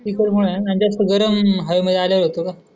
तिखट मुळे जास्त गरम हवेमध्ये आल्यावर होत का?